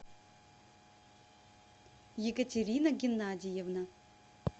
екатерина геннадьевна